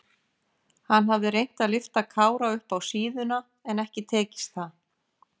Hann hafði reynt að lyfta Kára upp á síðuna en ekki tekist það.